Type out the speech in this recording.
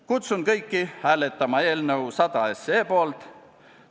Kutsun kõiki hääletama eelnõu 100 poolt.